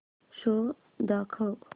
show दाखव